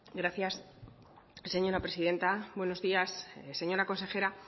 gracias señora presidenta buenos días señora consejera